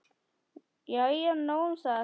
Jæja, nóg um það.